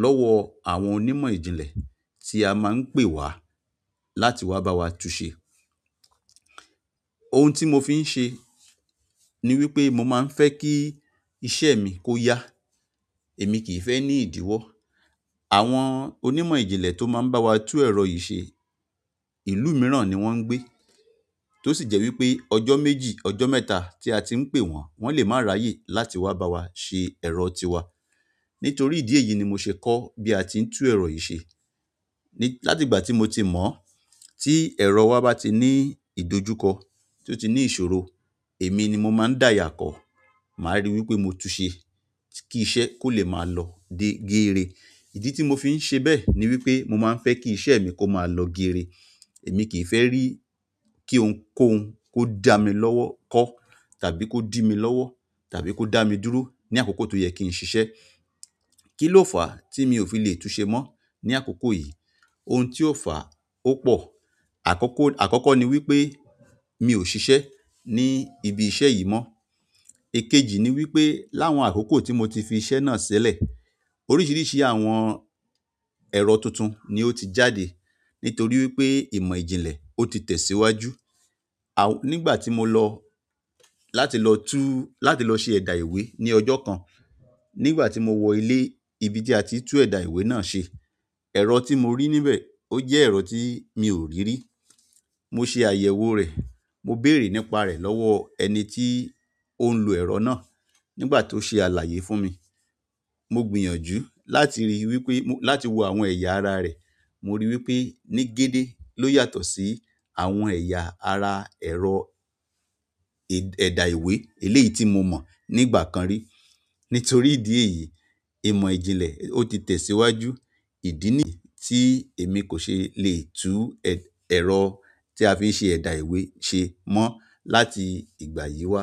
lowo àwọn onímọ̀ ìjìnlẹ̀, ti a maa n pe wa láti wa bawa tunse. Ohun tí mo fi ń ṣe ni wípé mo máa ń fẹ́ kí iṣẹ́ mi kó yá. Èmi kì í fẹ́ ní ìdíwọ́. Àwọn onímọ̀ ìjìnlẹ̀ tó máa ń bá wa tún ẹ̀rọ yìí ṣe, ìlú mìíràn ni wọ́n ń gbé. Tó sì jẹ́ wípé ọjọ́ méjì, ọjọ́ mẹ́ta tí a ti ń pè wọ́n, wón lè má ra yè láti wá bá wa ṣe ẹ̀rọ tiwa. Nítorí ìdí èyí ni mo ṣe kọ́ bí a ti ń tú ẹ̀rọ yìí ṣe. Látìgbà tí mo ti mọ̀, tí ẹ̀rọ wa bá ti ní ìdójúkọ, tí ó ti ní ìṣòro, èmi ni mo máa ń dáya kọ. Ma ri wípé mo tunse, ki iṣẹ́ kole ma lo geere. Ìdí tí mo fi ń ṣe bẹ́ẹ̀ ni wípé mo máa ń fẹ́ kí iṣẹ́ mi kó máa lọ géere. Èmi kì í fẹ́ rí kí ohun kóhun, kó dà mí lọ́wọ́ kọ́ tàbí kó dì mi lọ́wọ́ tàbí kó dà mí dúró ní àkókò tó yẹ kí n ṣiṣẹ́. Kí ló fà á tí mi ò fi lè tun ṣe mọ́ ní àkókò yìí? Ohun tí ó fà á ó pò. Àkọ́kọ́, àkọ́kọ́ ni wípé mi ò ṣiṣẹ́ ní ibi iṣẹ́ yìí mọ́. Èkejì ni wípé láwọn àkókò tí mo ti fi iṣẹ́ náà ṣẹlẹ̀, oríṣiríṣi àwọn ẹ̀rọ tuntun ni ó ti jáde nítorí wípé ìmọ̀ ìjìnlẹ̀ ó ti tẹ̀síwájú. Àwọn, nígbà tí mo lọ láti lọ tú, láti lọ ṣe ẹ̀dà ìwé ní ọjọ́ kan, nígbà tí mo wọ ilé ibi tí a ti ń tú ẹ̀dà ìwé náà ṣe, ẹ̀rọ tí mo rí níbẹ̀ ó jẹ́ ẹ̀rọ tí mi ò rí rí. Mo ṣe àyẹ̀wò rẹ̀, mo béèrè nípa rẹ̀ lọ́wọ́ ẹni tí ó ń lo ẹ̀rọ náà nígbà tó ṣe àlàyé fún mi. Mo gbìyànjú láti rí i wípé, mo, láti wo àwọn ẹ̀yà ara rẹ̀. Mo rí i wípé ní gédé ló yàtọ̀ sí àwọn ẹ̀yà ara ẹ̀rọ ẹ̀dà ìwé eléyìí tí mo mọ̀ nígbà kan rí. Nítorí ìdí èyí, ìmọ̀ ìjìnlẹ̀ ó ti tẹ̀síwájú. Ìdí nì tí èmi kò ṣe lè tú ẹ̀rọ tí a fi ń ṣe ẹ̀dà ìwé ṣe mọ́ láti ìgbà yìí wá.